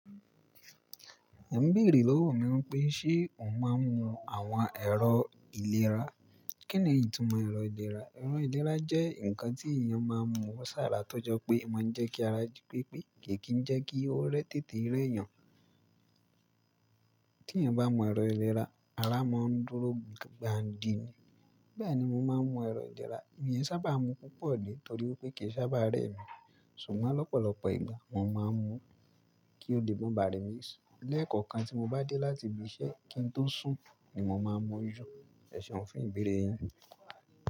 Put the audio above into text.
O ń béèrè lówó mi wípé ṣe o n máa ń mu àwọn ẹ̀rọ ìlera? Kí ni ìtumò ẹ̀rọ ìlera? Ẹ̀rọ ìlera jẹ́ ǹkan tí èèyàn máa ń mu wọ́ sàrá tó jọ pé máa ń jẹ́ kí ara jí pépé ke kì í jẹ́ kí ó rẹ́ tètè rẹ́ yàn. Tí èèyàn bá mú ẹ̀rọ ìlera, ara máa ń dúró gbà ń dìní. Bẹ́ẹ̀ ni mo máa ń mu ẹ̀rọ ìlera, èmi ẹ sábà mu púpọ̀ ni torí pé kì í sábà rẹ́ mi. Ṣùgbọ́n lọ́pọ̀lọpọ̀ ìgbà mo máa ń mu kí ó lè mọ bà remi sì. Lẹ́ẹ̀kọ̀kan tí mo bá dé láti ibi iṣẹ́ kí n tó sùn ni mo máa ń mú jú. Ẹ̀ṣẹ̀un fún ìbéèrè yín.